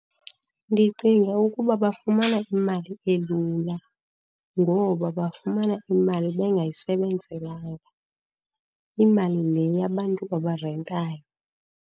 Ndicinga ukuba bafumana imali elula, ngoba bafumana imali bengayisebenzelanga. Imali le yabantu abarentayo.